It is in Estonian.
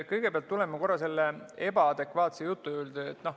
Kõigepealt tulen korra selle ebaadekvaatsuse jutu juurde.